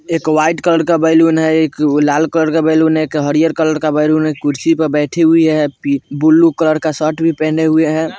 एक white colour का balloon है एक लाल कलर का बेलून है एक हरियर कलर का बेलून है कुर्सी पर बैठी हुई है पि- ब्लू कलर का शर्ट भी पहने हुए है।